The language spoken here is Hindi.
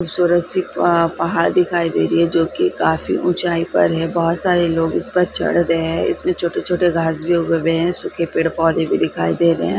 खूबसूरत सी पहाड़ दिखाई दे रही है जो कि काफी ऊंचाई पर है बहोत सारे लोग इस पर चढ़ रहे हैं इसमें छोटे-छोटे घास भी उगे हुए है सूखे पेड़-पौधे भी दिखाई दे रहे हैं।